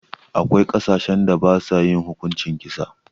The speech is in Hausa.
Akwai ƙasashen da basa yin hukuncin kisa.